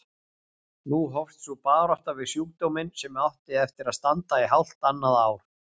Nú hófst sú barátta við sjúkdóminn sem átti eftir að standa í hálft annað ár.